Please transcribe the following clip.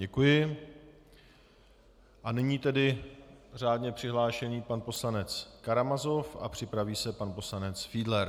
Děkuji a nyní tedy řádně přihlášený pan poslanec Karamazov a připraví se pan poslanec Fiedler.